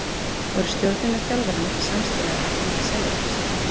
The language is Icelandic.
Voru stjórnin og þjálfarinn ekki samstíga með að selja Kristján?